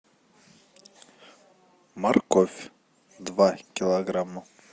морковь два килограмма